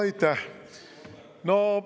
Aitäh!